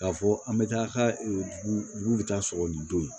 K'a fɔ an bɛ taa a ka dugu bɛ taa sɔgɔ ni don ye